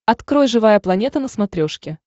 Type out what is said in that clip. открой живая планета на смотрешке